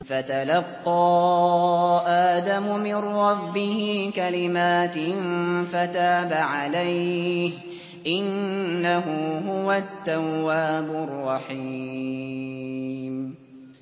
فَتَلَقَّىٰ آدَمُ مِن رَّبِّهِ كَلِمَاتٍ فَتَابَ عَلَيْهِ ۚ إِنَّهُ هُوَ التَّوَّابُ الرَّحِيمُ